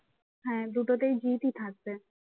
হ্যাঁ, দুটোতেই জিৎ ই থাকবে